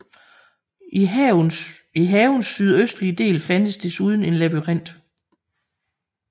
I havens sydøstlige del fandtes desuden en labyrint